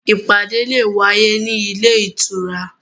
Ìpàdé le è wáyé ní ilé ìtura